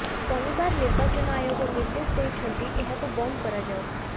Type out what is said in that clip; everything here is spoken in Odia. ଶନିବାର ନିର୍ବାଚନ ଆୟୋଗ ନିର୍ଦ୍ଦେଶ ଦେଇଛନ୍ତି ଏହାକୁ ବନ୍ଦ କରାଯାଉ